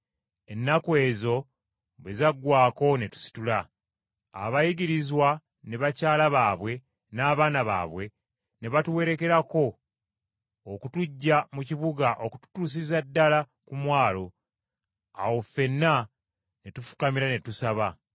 Ennaku ezo bwe zaggwaako ne tusitula. Abayigirizwa ne bakyala baabwe n’abaana baabwe ne batuwerekerako okutuggya mu kibuga okututuusiza ddala ku mwalo. Awo ffenna ne tufukamira ne tusaba.